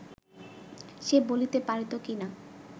সে বলিতে পারিত কি না